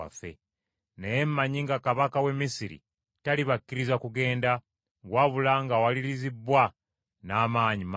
Naye mmanyi nga kabaka w’e Misiri talibakkiriza kugenda, wabula ng’awalirizibbwa n’amaanyi mangi.